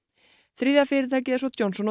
þriðja fyrirtækið er svo Johnson